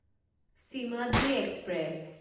Simhadri express